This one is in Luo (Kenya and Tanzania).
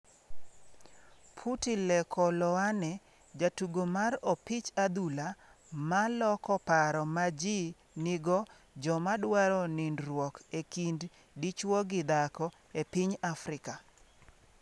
Phuti Lekoloane: Jatugo mar opich adhula ma loko paro ma ji nigo joma dwaro nindruok e kind dichwo gi dhako e piny Afrika